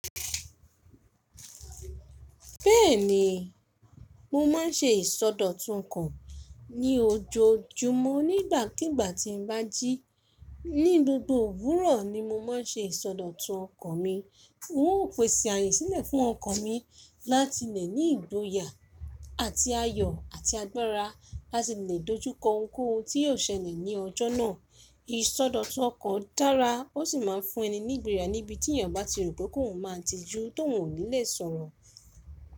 Bẹ́ẹ̀ni, mo ma ń ṣe ìsọdọ̀tún ọkàn ní ojoojúmọ́ ní ìgbàkígbà tí mo bá jí. Ní gbogbo òwúrọ̀ ni mo máa ń ṣe ìsọdọ̀tú ọkàn mi. N ó pèsè ààyè sílẹ̀ fún ọkàn mi láti lè ní ìgboyà àti ayọ̀ àti agbára láti lè dojúkọ ohun kóhun tí yóò ṣẹlẹ̀ ní ọjọ́ náà. Ìsọdọ̀tú ọkàn dára, ó sì máa ń fún ẹni nígboya níbi tí èèyàn bá ti rò pé kòun máà ti jú tóun ò ní lè sọ̀rọ̀.